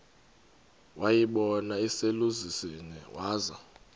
wayibona iselusizini waza